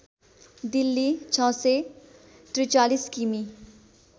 दिल्ली ६४३ किमि